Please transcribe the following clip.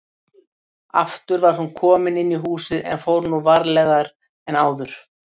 Aftur var hún komin inn í húsið en fór nú varlegar en áður.